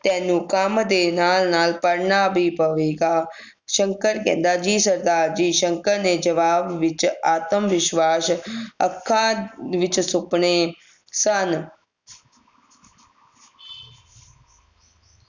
ਤੈਨੂੰ ਕੰਮ ਦੇ ਨਾਲ ਨਾਲ ਪੜ੍ਹਨਾ ਵੀ ਪਵੇਗਾ ਸ਼ੰਕਰ ਕਹਿੰਦਾ ਜੀ ਸਰਦਾਰ ਜੀ ਸ਼ੰਕਰ ਨੇ ਜਵਾਬ ਵਿਚ ਆਤਮਵਿਸ਼ਵਾਸ ਅੱਖਾਂ ਵਿਚ ਸੁਪਨੇ ਸਨ